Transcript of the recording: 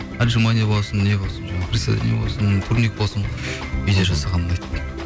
отжимание болсын не болсын жаңағы приседание болсын турник болсын үйде жасаған ұнайды